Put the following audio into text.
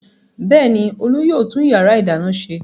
Bẹ́ẹ̀ ni, Olú yóò tún ìyàrá-ìdáná ṣe.